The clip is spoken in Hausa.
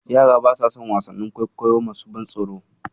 Yara basa son wasannin kwaikwayo masu ban tsoro.